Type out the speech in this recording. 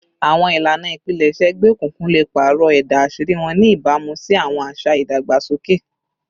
Awọn ilana ipilẹṣẹ egbeokunkun le paarọ ẹda aṣiri wọn, ni ibamu si awọn aṣa idagbasoke